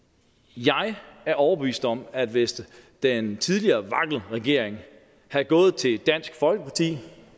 jeg er overbevist om at hvis den tidligere vlak regering havde gået til dansk folkeparti